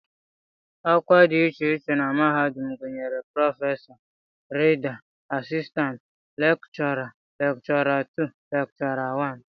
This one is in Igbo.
Ọkwa dị iche iche na mahadum gụnyere prọfesọ, Rida, asistantị lekchọra, lekchọra 2, lekchọra 1